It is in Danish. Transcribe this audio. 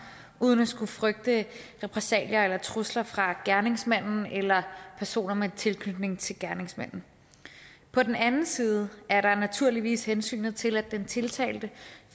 uden at skulle frygte repressalier eller trusler fra gerningsmanden eller personer med tilknytning til gerningsmanden på den anden side er der naturligvis hensynet til at den tiltalte